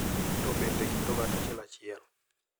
to bende e kind oganda achiel achiel.